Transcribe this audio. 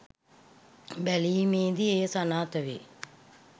බැලීමේදී එය සනාථ වේ